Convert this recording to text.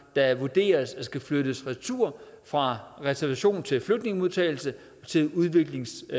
der vurderes at skulle flyttes retur fra reservationen til flygtningemodtagelse til udviklingshjælp